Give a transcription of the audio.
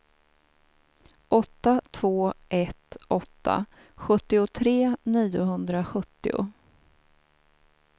åtta två ett åtta sjuttiotre niohundrasjuttio